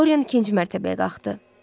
Doryan ikinci mərtəbəyə qalxdı.